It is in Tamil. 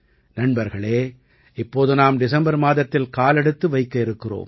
நண்பர்களே இப்போது நாம் டிசம்பர் மாதத்தில் காலெடுத்து வைக்க இருக்கிறோம்